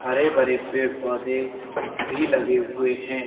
हरे भरे पेड़ पौधे भी लगे हुए हैं।